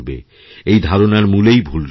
এই ধারণারমূলেই ভুল রয়েছে